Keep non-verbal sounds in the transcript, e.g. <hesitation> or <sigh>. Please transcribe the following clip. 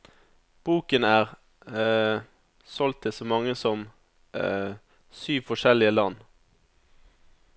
Boken er <hesitation> solgt til så mange som <hesitation> syv forskjellige land.